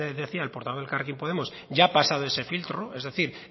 decía el portavoz de elkarrekin podemos ya ha pasado ese filtro es decir